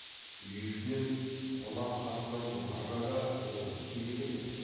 үй ішінен қонақ қасынан бұларға да орын тимеген екен